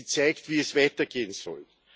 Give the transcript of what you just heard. Sie zeigt, wie es weitergehen soll.